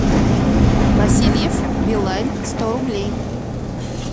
васильев билайн сто рублей